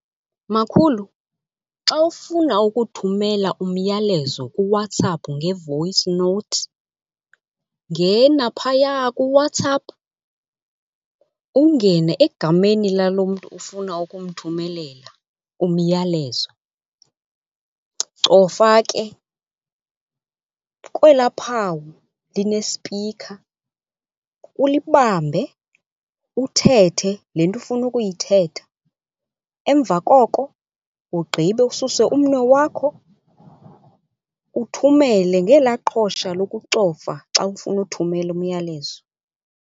Makhulu, xa ufuna ukuthumela umyalezo kuWhatsApp nge-voice note, ngena phaya kuWhatsApp, ungene egameni lalo mntu ufuna ukumthumelela umyalezo. Cofa ke kwelaa phawu linespikha, ulibambe uthethe le nto ufuna ukuyithetha. Emva koko ugqibe ususe umnwe wakho uthumele ngelaa qhosha lokucofa xa ufuna uthumela umyalezo.